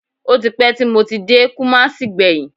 Ó ti pẹ́ tí mo ti dé Kùmásí gbẹ̀yìn